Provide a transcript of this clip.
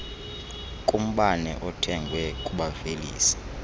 kumbane othengwe kubavelisi